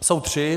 Jsou tři.